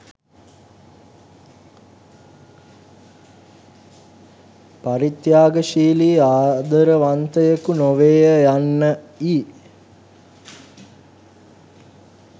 පරිත්‍යාගශීලී ආදරවන්තයකු නොවේය යන්න යි